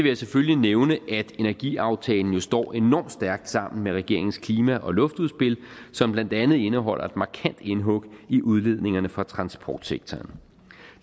jeg selvfølgelig nævne at energiaftalen jo står enormt stærkt sammen med regeringens klima og luftudspil som blandt andet indeholder et markant indhug i udledningerne fra transportsektoren